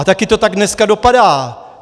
A taky to tak dneska dopadá.